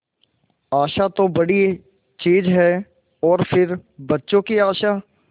आशा तो बड़ी चीज है और फिर बच्चों की आशा